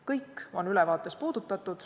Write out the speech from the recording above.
Kõiki neid töid ülevaade ka tutvustab.